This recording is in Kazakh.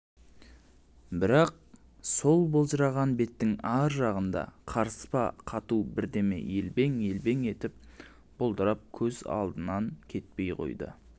бірақ сол былжыраған беттің ар жағында қарыспа қату бірдеме елбең-елбең етіп бұлдырап көз алдынан кетпей қойды